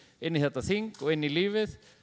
inn í þetta þing og inn í lífið